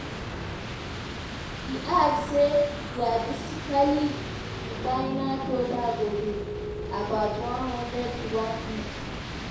e add say "realistically" di di final total go dey "about one hundred to 150".